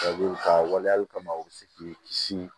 ka waleyali kama u bɛ se k'i kisi